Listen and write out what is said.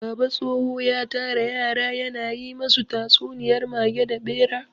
Baba tsoho ya tara yara ya na yi masu tatsuniyar mage da ɓera.